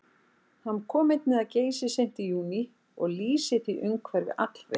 Hann kom einnig að Geysi seint í júní og lýsir því umhverfi allvel.